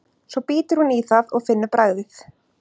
Svo bítur hún í það og finnur bragðið.